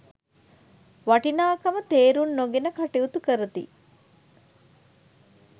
වටිනාකම තේරුම් නොගෙන කටයුතු කරති.